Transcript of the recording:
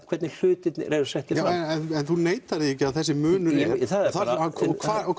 hvernig hlutirnir eru settir fram en þú neitar því ekki að þessi munur og